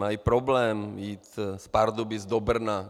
Mají problém jít z Pardubic do Brna.